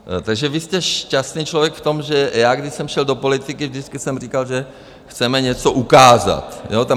Takže vy jste šťastný člověk v tom, že já, když jsem šel do politiky, vždycky jsem říkal, že chceme něco ukázat.